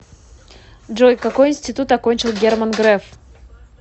джой какой интситут окончил герман греф